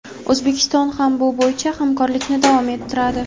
O‘zbekiston ham bu bo‘yicha hamkorlikni davom ettiradi.